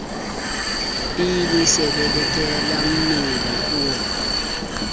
be le selelekela mmele o